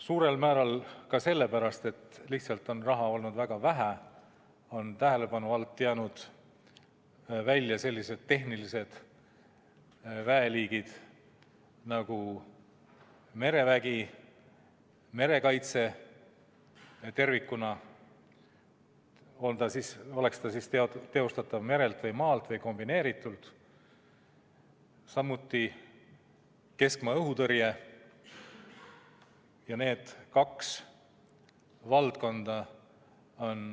Suurel määral ka sellepärast, et raha on lihtsalt olnud väga vähe, on tähelepanu alt jäänud välja sellised tehnilised väeliigid nagu merevägi, merekaitse tervikuna, oleks see siis teostatav merelt või maalt või kombineeritult, samuti keskmaa õhutõrje.